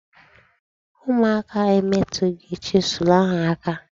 Ụmụaka emetụghị chisụl ahụ aka.